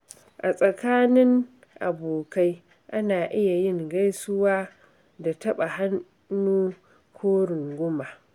A tsakanin abokai, ana iya yin gaisuwa da taɓa hannu ko runguma.